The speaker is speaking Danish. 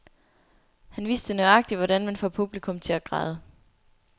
Han vidste nøjagtigt, hvordan man får publikum til at græde.